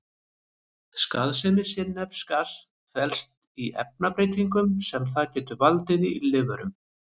Skaðsemi sinnepsgass felst í efnabreytingum sem það getur valdið í lífverum.